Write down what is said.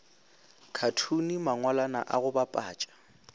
khathune mangwalwana a go bapatša